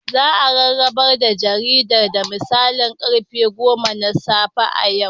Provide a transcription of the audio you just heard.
Za a rarraba jaridar da misalin karfe goma na safe a yau.